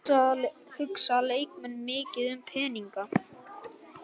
Hugsa leikmenn mikið um peninga?